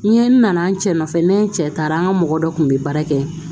N ye n nana n cɛ nɔfɛ n'an cɛ taara an ka mɔgɔ dɔ kun bɛ baara kɛ